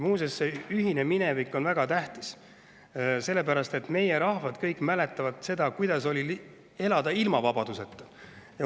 Muuseas, see ühine minevik on väga tähtis, sellepärast et meie rahvad kõik mäletavad seda, kuidas oli elada ilma vabaduseta.